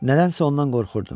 Nədənsə ondan qorxurdum.